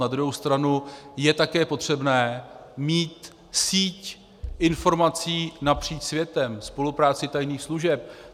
Na druhou stranu je také potřebné mít síť informací napříč světem, spolupráci tajných služeb.